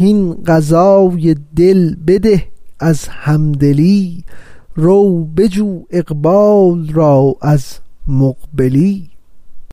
هین غذای دل بده از همدلی رو بجو اقبال را از مقبلی